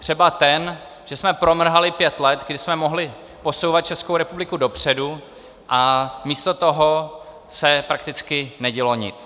Třeba ten, že jsme promrhali pět let, kdy jsme mohli posouvat Českou republiku dopředu, a místo toho se prakticky nedělo nic.